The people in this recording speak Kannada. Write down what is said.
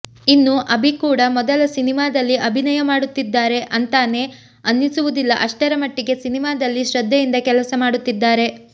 ಇನ್ನು ಅಭಿ ಕೂಡ ಮೊದಲ ಸಿನಿಮಾದಲ್ಲಿ ಅಭಿನಯ ಮಾಡುತ್ತಿದ್ದಾರೆ ಅಂತಾನೆ ಅನ್ನಿಸುವುದಿಲ್ಲ ಅಷ್ಟರ ಮಟ್ಟಿಗೆ ಸಿನಿಮಾದಲ್ಲಿ ಶ್ರದ್ದೆಯಿಂದ ಕೆಲಸ ಮಾಡುತ್ತಿದ್ದಾರೆ